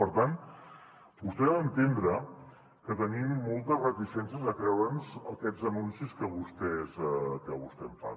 per tant vostè ha d’entendre que tenim moltes reticències de creure’ns aquests anuncis que vostè em fa